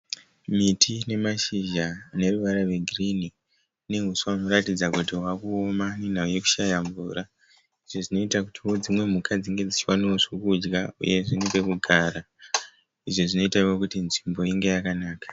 Miti ine mashizha neruwara rwe girini. Ine huswa huri kuratidza kuti hwakuoma nenhau yekushaya mvura. Izvo zvinoita kutio dzimwe mhuka dzinge dzichiwanao zvokudya uyezve nepekugara. Izvi zvinoitao kuti nzvimbo inge yakanaka.